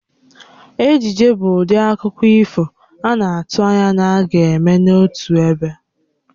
Ejije bụ ụdị akụkọ ifo a na-atụ anya na a ga-eme ya n'otu ebe